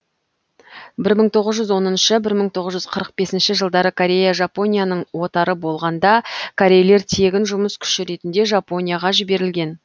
бір мың тоғыз жүз оныншы бір мың тоғыз жүз қырық бесінші жылдары корея жапонияның отары болғанда корейлер тегін жұмыс күші ретінде жапонияға жіберілген